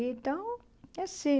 Então, é assim.